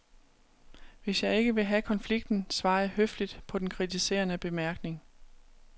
Hvis jeg ikke vil have konflikten, svarer jeg høfligt på den kritiserende bemærkning.